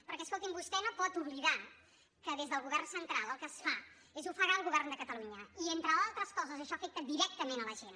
perquè escolti’m vostè no pot oblidar que des del govern central el que es fa és ofegar el govern de catalunya i entre altres coses això afecta directament la gent